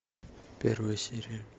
первая серия